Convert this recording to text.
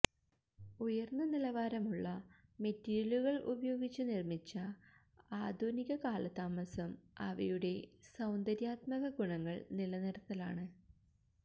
ഉയർന്ന നിലവാരമുള്ള മെറ്റീരിയലുകൾ ഉപയോഗിച്ച് നിർമ്മിച്ച ആധുനിക കാലതാമസം അവയുടെ സൌന്ദര്യാത്മക ഗുണങ്ങൾ നിലനിർത്തലാണ്